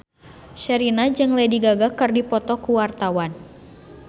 Sherina jeung Lady Gaga keur dipoto ku wartawan